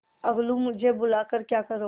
अलगूमुझे बुला कर क्या करोगी